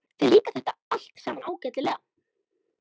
Þér líkar þetta allt saman ágætlega.